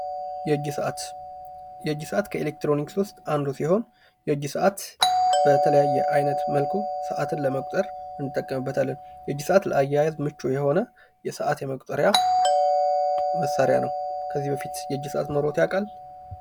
የእጅ ሰአት የእጅ ሰአት ከኤሌክትሪኒክስ ውስጥ አንዱ ሲሆን የእጅ ሰአት በተለያየ አይነት መልኩ ሰአትን ለመቁጠር እንጠቀምበታለን። የእጅ ሰአት ለአያይዝ ምቹ የሆነ የሰኣት መቁጠሪያ መሳርያ ነው። ከዚህ በፊት የእጅ ሰአት ኖሮት ያቃል?